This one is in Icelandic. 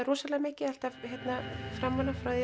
rosalega mikið alltaf framan af frá því